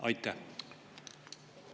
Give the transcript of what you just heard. Aitäh!